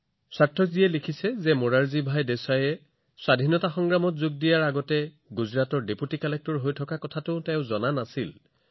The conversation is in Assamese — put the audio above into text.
সাৰ্থকজীয়ে লিখিছে যে স্বাধীনতা সংগ্ৰামত যোগদান কৰাৰ পূৰ্বে মোৰাৰজী ভাই দেশাই গুজৰাটত উপাযুক্ত আছিল বুলিও তেওঁ নাজানিছিল